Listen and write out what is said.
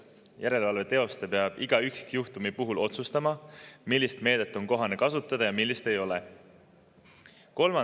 Järelevalve teostaja peab iga üksikjuhtumi puhul otsustama, millist meedet on kohane kasutada ja millist ei ole.